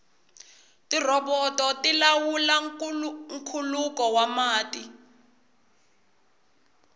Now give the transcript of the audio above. tirhoboto ti lawula nkhuluko wa mati